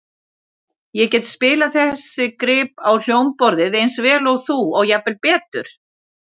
Ég get spilað þessi grip á hljómborðið eins vel og þú og jafnvel betur.